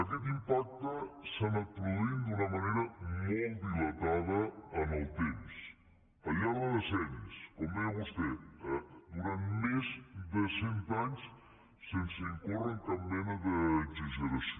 aquest impacte s’ha anat produint d’una manera molt dilatada en el temps al llarg de decennis com deia vostè durant més de cent anys sense incórrer en cap mena d’exageració